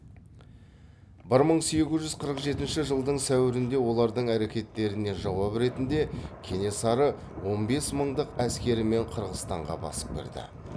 бір мың сегіз жүз қырық жетінші жылдың сәуірінде олардың әрекеттеріне жауап ретінде кенесары он бес мыңдық әскерімен қырғызстанға басып кірді